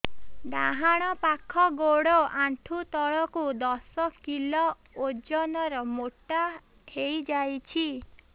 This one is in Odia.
ଡାହାଣ ପାଖ ଗୋଡ଼ ଆଣ୍ଠୁ ତଳକୁ ଦଶ କିଲ ଓଜନ ର ମୋଟା ହେଇଯାଇଛି